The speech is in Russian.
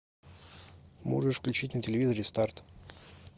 можешь включить на телевизоре старт